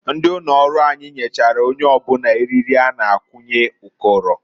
Ndị ụnọrụ anyị nyechara onye ọbụna eriri a na-akwunye ụkọrọ.